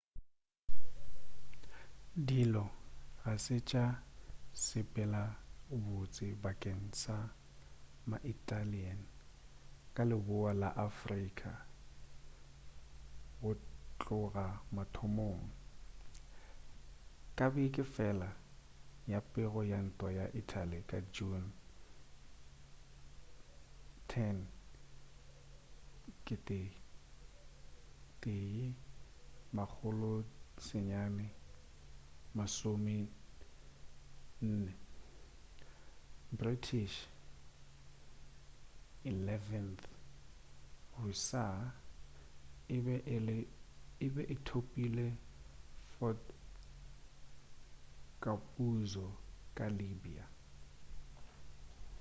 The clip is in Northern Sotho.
dilo ga se tša sepela botse bakeng sa ma-italian ka leboa la afrika go tloga mathomong ka beke fela ya pego ya ntwa ya italy ka june 10 1940 british 11th hussars e be e thopile fort capuzzo ka libya